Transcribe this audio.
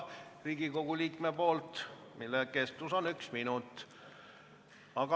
Küsimuse kestus on üks minut.